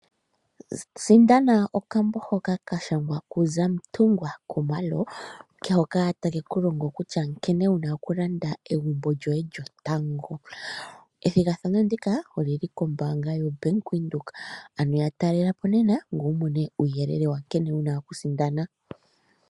Sindana okambo hoka kashangwa kuZamantungwa Khumalo, hoka takekulongo kutya nkene wuna okulanda egumbo lyoye lyotango. Ethigathano ndika olyili kombaanga yoBank Windhoek, ano yatalela po nena ngoye wumone uuyelele wankene wuna okusindana.